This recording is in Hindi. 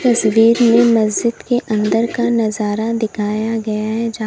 तस्वीर में मस्जिद के अंदर का नजारा दिखाया गया है।